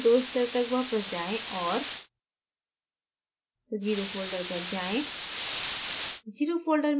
terminal में दो स्तर तक वापस जाएँ और 0 zero folder पर जाएँ